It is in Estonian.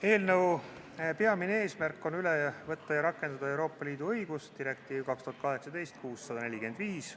Eelnõu peamine eesmärk on üle võtta ja rakendada Euroopa Liidu õigust, direktiivi 2018/645.